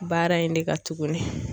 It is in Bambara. Baara in de ka tuguni.